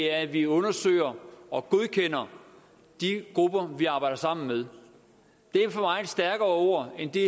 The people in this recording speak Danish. er at vi undersøger og godkender de grupper vi arbejder sammen med det er for mig stærkere ord end de